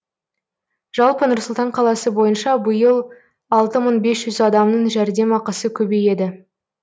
жалпы нұр сұлтан қаласы бойынша биыл алты мың бес жүз адамның жәрдемақысы көбейеді